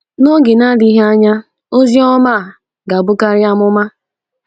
N’oge na-adịghị anya, ozi ọma a ga-abụkari amụma.